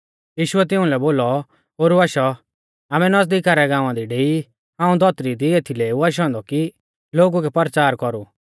यीशुऐ तिउंलै बोलौ ओरु आशौ आमै नीज़ुका रै गाँवा दी डेई हाऊं धौतरी दी एथीलै ऊ आशौ औन्दौ कि लोगु कै परचार कौरु